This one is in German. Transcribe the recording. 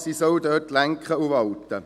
Sie sollen dort lenken und walten.